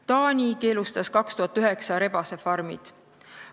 Taani keelustas 2009. aastal rebasefarmid.